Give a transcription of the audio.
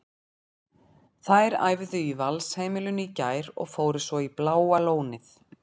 Þær æfðu í Valsheimilinu í gær og fóru svo í Bláa lónið.